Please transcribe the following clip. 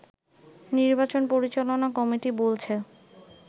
নির্বাচন পরিচালনা কমিটি বলছে